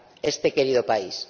este querido país.